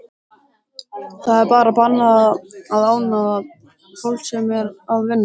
Það er bannað að ónáða fólk sem er að vinna.